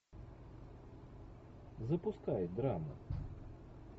запускай драма